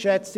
– Jetzt.